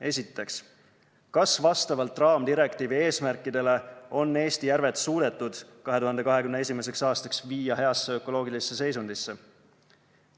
Esiteks, kas vastavalt raamdirektiivi eesmärkidele on Eesti järved suudetud 2021. aastaks viia heasse ökoloogilisse seisundisse?